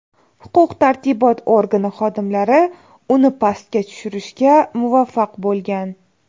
Huquq-tartibot organi xodimlari uni pastga tushirishga muvaffaq bo‘lgan.